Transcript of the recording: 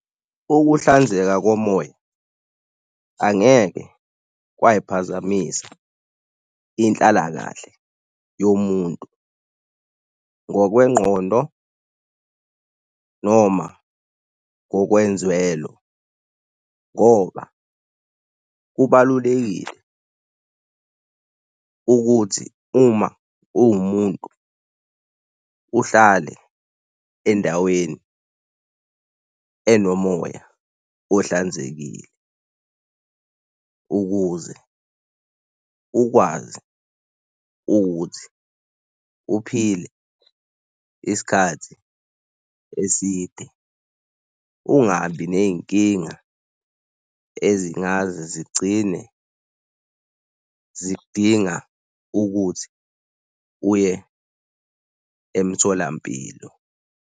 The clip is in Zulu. Ukuhlanzeka komoya angeke kwayiphazamisa inhlalakahle yomuntu ngokwengqondo noma ngokwenzwelo ngoba kubalulekile ukuthi uma uwumuntu uhlale endaweni enomoya ohlanzekile ukuze ukwazi ukuthi uphile isikhathi eside. Ungabi nezinkinga ezingaze zigcine zidinga ukuthi uye emtholampilo.